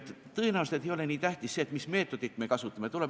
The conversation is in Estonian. Tõenäoliselt ei ole nii tähtis, mis meetodit me kasutame.